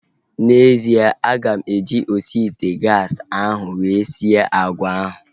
N'ezie, aga m eji osi ite gaasi ahu were sie agwa ahu